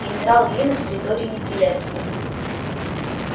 генерал ли на территории неприятеля